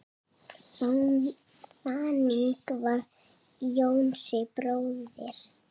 Þannig var Jónsi bróðir.